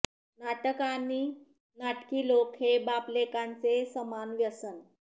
नाटक आणि नाटकी लोक हे बापलेकांचे समान व्यसन